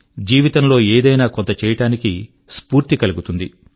జీవితం లో ఏదైనా కొంత చేయడానికి స్ఫూర్తి కలుగుతుంది